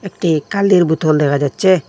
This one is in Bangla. টি কালির বুতল দেকা যাচ্চে।